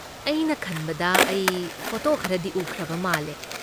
ꯑꯩꯅ ꯈꯟꯕꯗ ꯑꯩ ꯐꯣꯇꯣ ꯈꯔꯗꯤ ꯎꯈ꯭ꯔꯕ ꯃꯥꯜꯂꯦ꯫